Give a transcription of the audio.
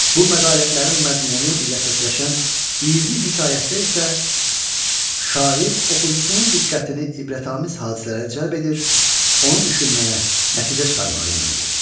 Bu məqalətlərin məzmunu ilə səsləşən 20 hekayətdə isə şair oxucusunun diqqətini ibrətamiz hadisələrə cəlb edir, onu düşünməyə, nəticə çıxarmağa yönəldir.